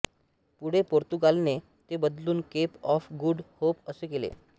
पुढे पोर्तुगालने ते बदलून केप ऑफ गुड होप असे केले